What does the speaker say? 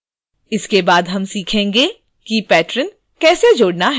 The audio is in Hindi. इसके बाद हम सीखेंगे कि patron कैसे जोड़ना है